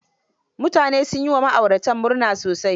mutane sun yi wa ma'ayratan murna sosai.